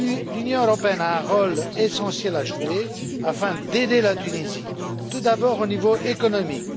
L'Union européenne a un rôle essentiel à jouer afin d'aider la Tunisie, tout d'abord au niveau économique.